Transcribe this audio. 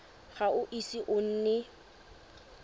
ga o ise o nne